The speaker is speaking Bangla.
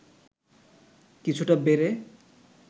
কিছুটা বেড়ে